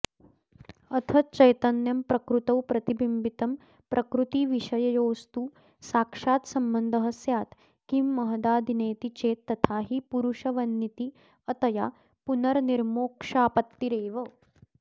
अथ चैतन्यं प्रकृतौ प्रतिबिम्बितं प्रकृतिविषययोस्तु साक्षात् सम्बन्धः स्यात् किं महदादिनेति चेत् तथाहि पुरुषवन्नित्यतया पुनरनिर्मोक्षापत्तिरेव